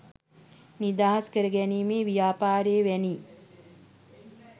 නිදහස් කර ගැනීමේ ව්‍යාපාරය වැනි